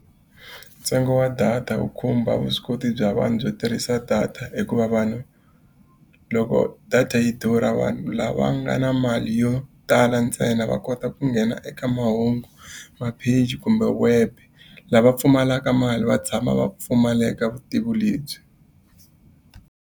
Ntsengo wa data wu khumba vuswikoti bya vanhu byo tirhisa data hikuva vanhu, loko data yi durha vanhu lava nga na mali yo tala ntsena va kota ku nghena eka mahungu, mapheji, kumbe web. Lava pfumalaka mali va tshama va pfumaleka vutivi lebyi.